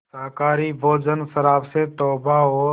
शाकाहारी भोजन शराब से तौबा और